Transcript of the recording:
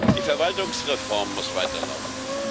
Die Verwaltungsreform muss weiterlaufen.